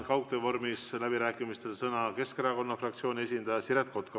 Nüüd annan läbirääkimistel kaugtöö vormis sõna Keskerakonna fraktsiooni esindajale Siret Kotkale.